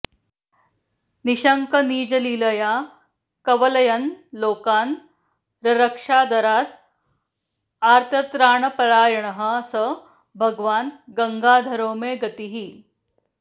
निश्शङ्कं निजलीलया कवलयन् लोकान् ररक्षादरात् आर्तत्राणपरायणः स भगवान् गङ्गाधरो मे गतिः